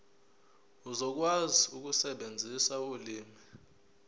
uzokwazi ukusebenzisa ulimi